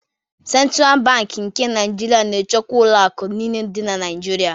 Sentral Bankị nke Naịjirịa na-achịkwa ụlọ akụ niile dị na Naịjirịa.